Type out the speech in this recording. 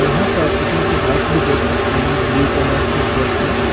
और यहां पर आप सिक्योरिटी गार्ड्स भी देख सकते हैं ब्लू कलर के ड्रेस में।